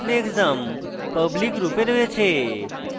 এবং display _ exam public function রূপে রয়েছে